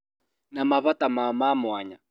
Na mabata mao ma mwanya